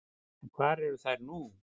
En hvar eru þær nú?